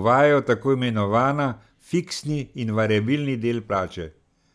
uvajajo tako imenovana fiksni in variabilni del plače.